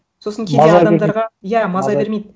сосын кейде адамдарға маза иә маза бермейді